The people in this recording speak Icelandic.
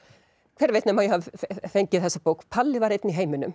hver veit nema ég hafi fengið þessa bók Palli var einn í heiminum